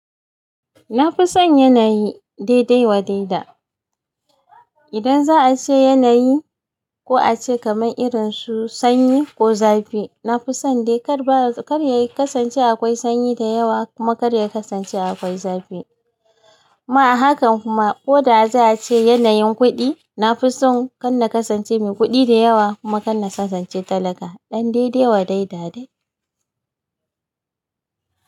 Na fi son yanayi, dai-dai wa daida. Idan za a ce yanayi, ko a ce kamar irinsu sanyi, ko zafi, na fi son dai kar ba kar ya kasance akwai sanyi da yawa, kuma kar yayi kasance akwai zafi. Ma a hakan kuma, ko da za a ce yanayin kuɗi, na fi son kanna kasance mai kuɗi da yawa, kuma kanna kasance talaka. Ɗan da-idai wa daida dai.